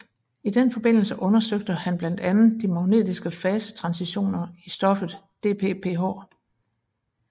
I den forbindelse undersøgte han blandt andet de magnetiske fasetransitioner i stoffet DPPH